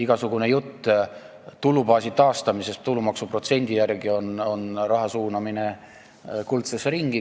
Igasugune jutt tulubaasi taastamisest, kehtestades endise protsendi tulumaksust, on raha suunamine kuldsesse ringi.